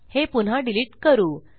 हे पुन्हा डिलिट करू